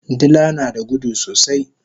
Dila nada gudu sosai